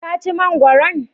Ka ci mangwaron?